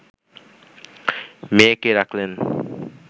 মেয়েকে রাখলেন